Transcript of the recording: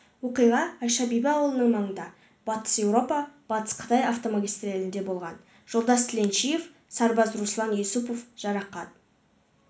оқиға айша бибі ауылының маңында батыс еуропа-батыс қытай автомагистралінде болған жолдас тіленшиев сарбаз руслан юсупов жарақат